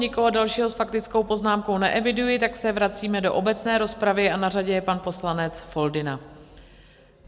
Nikoho dalšího s faktickou poznámkou neeviduji, tak se vracíme do obecné rozpravy a na řadě je pan poslanec Foldyna.